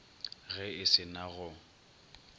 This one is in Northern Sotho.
ge e se na go